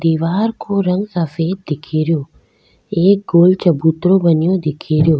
दिवार को रंग सफ़ेद दिखेरो एक गोल चबूतरा बनो दिखेरो।